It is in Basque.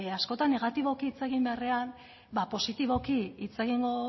askotan negatiboki hitz egin beharrean ba positiboki hitz egingo